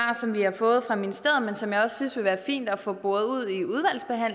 vi har fået fra ministeriet men som jeg også synes ville være fint at få boret ud